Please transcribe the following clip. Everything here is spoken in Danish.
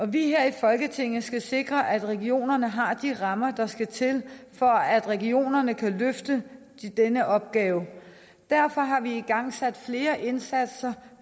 vi her i folketinget skal sikre at regionerne har de rammer der skal til for at regionerne kan løfte den opgave derfor har vi igangsat flere indsatser